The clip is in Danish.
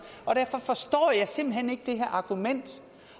og derfor forstår jeg simpelt hen ikke det her argument